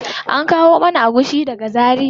An kawo mana agushi daga zaria.